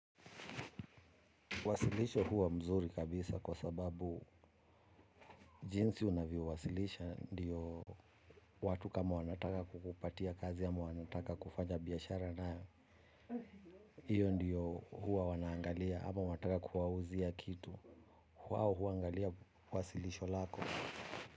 Wasilisho huwa mzuri kabisa kwa sababu jinsi unavyo wasilisha ndiyo watu kama wanataka kukupatia kazi ama wanataka kufanya biashara nawe iyo ndiyo huwa wanaangalia ama wataka kuwauzia kitu kwao huangalia wasilisho lako.